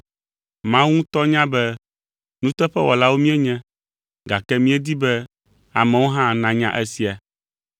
Mawu ŋutɔ nya be nuteƒewɔlawo míenye, gake míedi be amewo hã nanya esia.